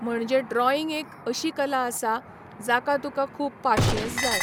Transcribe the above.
म्हणजे ड्रॉईंग एक अशी कला आसा जाका तुका खूब पाशयेंस जाय.